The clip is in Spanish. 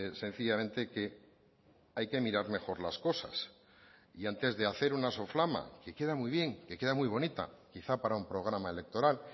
sencillamente que hay que mirar mejor las cosas y antes de hacer una soflama que queda muy bien que queda muy bonita quizá para un programa electoral